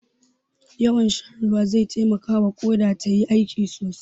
Yawan shan ruwa zai taimakawa Ƙoda tayi aiki sosai.